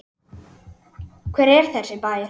Hver er þessi bær?